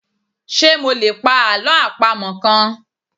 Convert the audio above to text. Ṣé mo lè pa Àlọ́ àpamọ̀ kan?